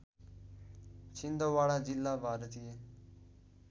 छिन्दवाडा जिल्ला भारतीय